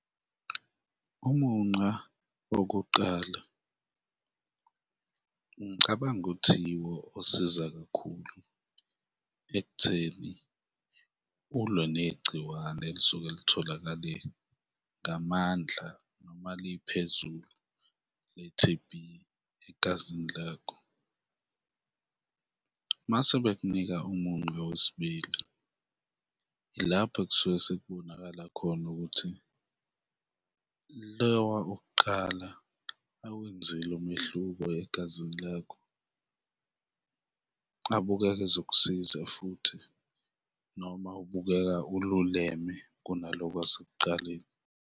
Umuncwa wokuqala ngicabanga ukuthi yiwo osiza kakhulu ekutheni ulwe negciwane elisuke litholakale ngamandla noma liphezulu le-T_B egazini lakho mase bekunika umuncwa wesibili, ilapho ekusuke sekubonakala khona ukuthi loya wokuqala awenzile umehluko egazini lakho, abukeka ezokusiza futhi noma ubukeka ululeme kunaloko kwasekuqaleni.